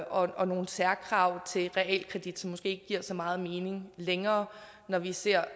og nogle særkrav til realkredit som måske giver så meget mening længere når vi ser